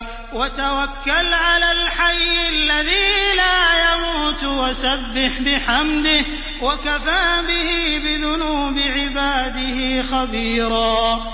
وَتَوَكَّلْ عَلَى الْحَيِّ الَّذِي لَا يَمُوتُ وَسَبِّحْ بِحَمْدِهِ ۚ وَكَفَىٰ بِهِ بِذُنُوبِ عِبَادِهِ خَبِيرًا